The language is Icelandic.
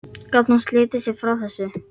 Gat hún slitið sig frá þessu?